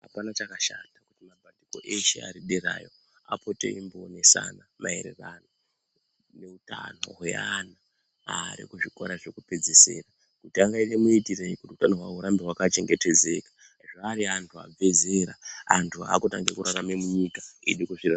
Apana chakashata kuti mabandiko eshe ari derayo apote eimboonesana maererano neutano hweanhu ari kuzvikora zvekupedzesera kuti angaita maitirei kuti hutano hwavo kurambe hwakachengetedzeka zvaari anthu abva zera antu akutanga kurarama munyika nekuzviraramira.